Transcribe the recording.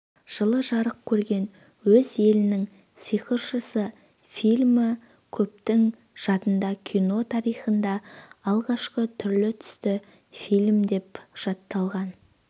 жылы жарық көрген оз елінің сыйқыршысы фильмі көптің жадында кино тарихындағы алғашқы түрлі-түсті фильм деп жатталған